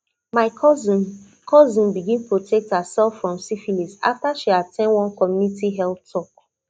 my cousin cousin begin protect herself from syphilis after she at ten d one community health talk